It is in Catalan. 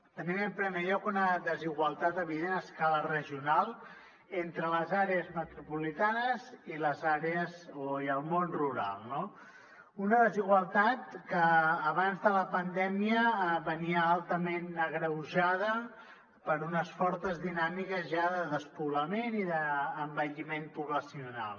tenim en primer lloc una desigualtat evident a escala regional entre les àrees metropolitanes i el món rural una desigualtat que abans de la pandèmia venia altament agreujada per unes fortes dinàmiques ja de despoblament i d’envelliment poblacional